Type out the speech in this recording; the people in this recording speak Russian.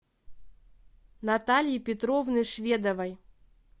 натальи петровны шведовой